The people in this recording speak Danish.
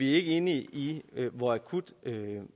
ikke enige i hvor akut